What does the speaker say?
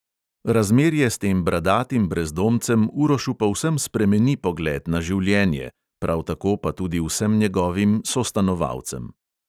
Razmerje s tem bradatim brezdomcem urošu povsem spremeni pogled na življenje, prav tako pa tudi vsem njegovim sostanovalcem ...